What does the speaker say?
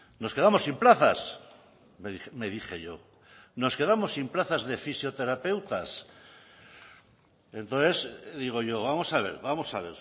nos quedamos sin plazas me dije yo nos quedamos sin plazas de fisioterapeutas entonces digo yo vamos a ver vamos a